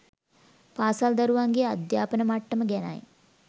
පාසල් දරුවන්ගේ අධ්‍යාපන මට්ටම ගැනයි.